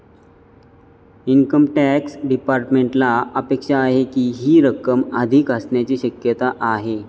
Income tax डिपार्टमेंटला अपेक्षा आहे की, ही रक्कम अधिक असण्याची शक्यता आहे.